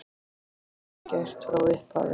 Þetta höfðu þeir gert frá upphafi